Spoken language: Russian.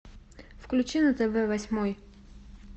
включи на тв восьмой